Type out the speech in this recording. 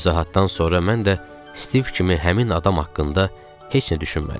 Bu izahatdan sonra mən də Stiv kimi həmin adam haqqında heç nə düşünmədim.